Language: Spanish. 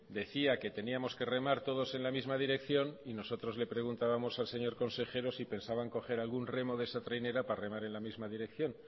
decía que teníamos que remar todos en la misma dirección y nosotros le preguntábamos al señor consejero si pensaban coger algún remo de esa trainera para remar en la misma dirección